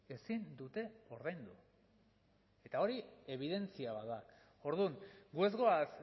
ezin dute ordaindu eta hori ebidentzia bat da orduan gu ez goaz